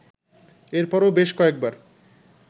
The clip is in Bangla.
এরপরও বেশ কয়েকবার